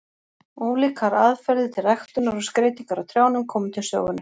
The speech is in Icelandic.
Ólíkar aðferðir til ræktunar og skreytingar á trjánum komu til sögunnar.